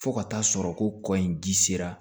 Fo ka taa sɔrɔ ko kɔ in ji sera